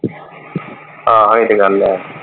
ਹਾਂ ਇਹ ਤੇ ਗੱਲ ਹੈ।